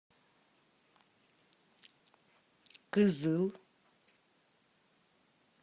кызыл